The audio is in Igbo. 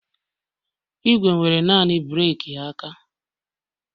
Igwe nwere naanị breeki aka